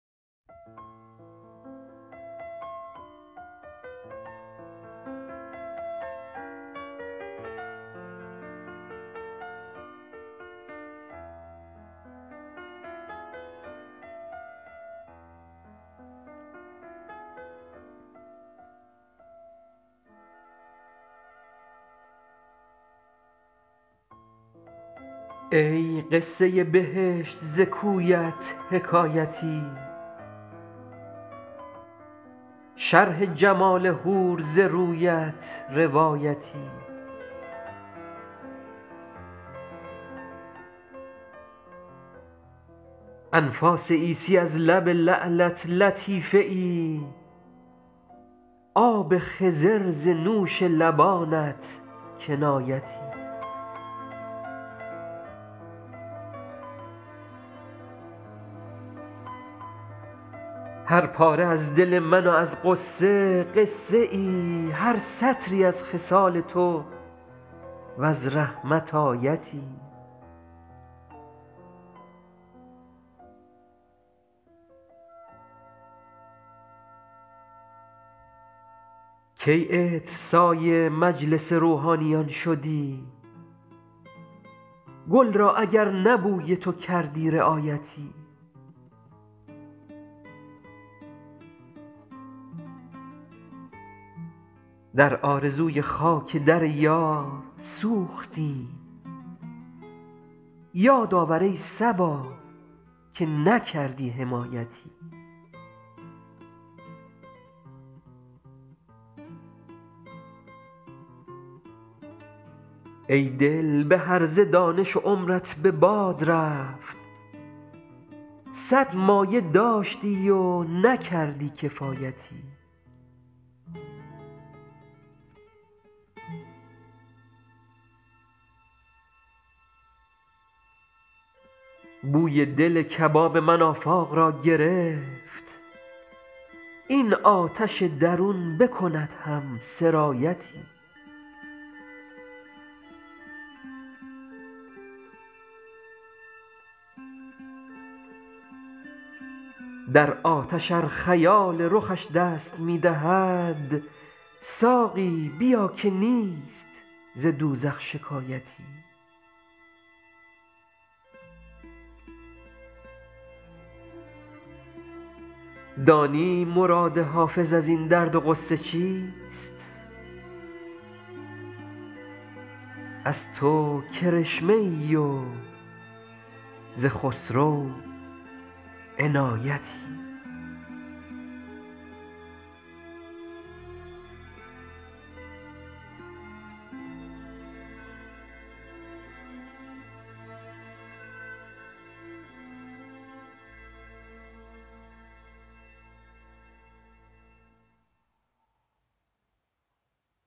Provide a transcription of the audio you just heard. ای قصه بهشت ز کویت حکایتی شرح جمال حور ز رویت روایتی انفاس عیسی از لب لعلت لطیفه ای آب خضر ز نوش لبانت کنایتی هر پاره از دل من و از غصه قصه ای هر سطری از خصال تو و از رحمت آیتی کی عطرسای مجلس روحانیان شدی گل را اگر نه بوی تو کردی رعایتی در آرزوی خاک در یار سوختیم یاد آور ای صبا که نکردی حمایتی ای دل به هرزه دانش و عمرت به باد رفت صد مایه داشتی و نکردی کفایتی بوی دل کباب من آفاق را گرفت این آتش درون بکند هم سرایتی در آتش ار خیال رخش دست می دهد ساقی بیا که نیست ز دوزخ شکایتی دانی مراد حافظ از این درد و غصه چیست از تو کرشمه ای و ز خسرو عنایتی